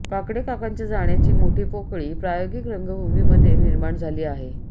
काकडे काकांच्या जाण्याचे मोठी पोकळी प्रायोगिक रंगभूमीमध्ये निर्माण झाली आहे